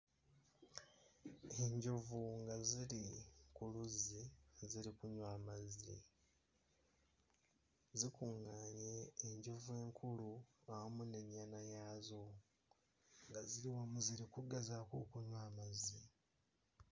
Enjovu nga ziri ku luzzi ziri kunywa amazzi zikuŋŋaanye, enjovu ekulu awamu n'ennyana yazo nga ziri wamu ziri kugezaako okunywa amazzi.